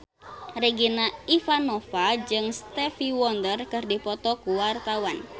Regina Ivanova jeung Stevie Wonder keur dipoto ku wartawan